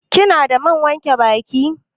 Kina da man wanke baki?